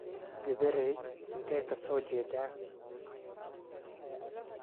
Gabareey intee ka soo jeeda?